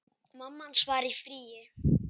Mamma hans var í fríi.